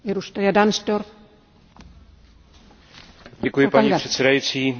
Paní předsedající, já bych se chtěl omezit na dvě poznámky.